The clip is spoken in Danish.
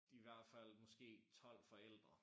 De i hvert fald måske 12 forældre